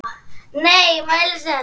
Einróma stutt.